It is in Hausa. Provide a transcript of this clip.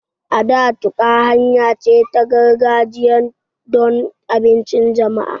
A da, tuƙa, hanya ce ta gargajiya don abincin jama'a